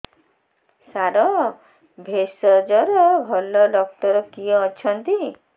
ସାର ଭେଷଜର ଭଲ ଡକ୍ଟର କିଏ ଅଛନ୍ତି